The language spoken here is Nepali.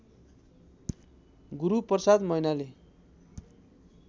गुरूप्रसाद मैनाली